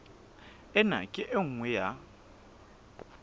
ena ke e nngwe ya